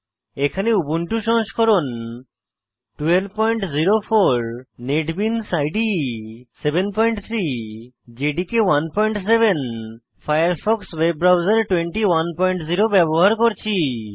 এখানে উবুন্টু সংস্করণ 1204 NetBeans IDE 73 JDK 17 Firefox web browser 210 ব্যবহার করছি